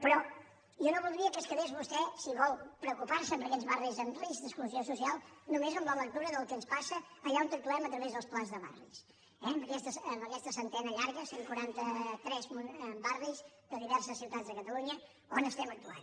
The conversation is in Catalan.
però jo no voldria que es quedés vostè si vol preocupar se per aquests barris amb risc d’exclusió social només amb la lectura del que ens passa allà on actuem a través dels plans de barris amb aquesta centena llarga cent i quaranta tres barris de diverses ciutats de catalunya on estem actuant